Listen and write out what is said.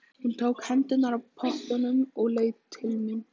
Hún tók hendurnar af pottunum og leit til mín.